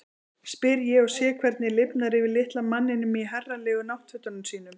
spyr ég og sé hvernig lifnar yfir litla manninum í herralegu náttfötunum sínum.